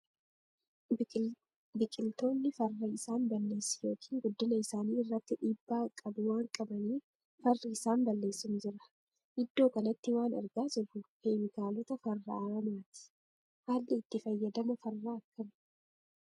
Biqiltoonni farra isaan balleessu yookiin guddina isaani irratti dhiibbaa qabu waan qabaniif, farri isaan balleessu ni jira. Iddoo kanatti waan argaa jirru, keemikaalota farra aramaati. Haalli itti fayyadama farra akkami?